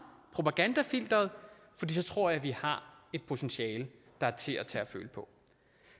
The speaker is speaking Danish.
propagandafilteret og så tror jeg at vi har et potentiale der er til at tage at føle på